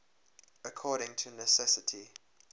according to necessity